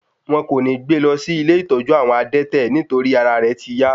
Wọn kò ní gbé e lọ sí ilé ìtọ́jú àwọn adẹ́tẹ̀ nítorí ara rẹ̀ ti yá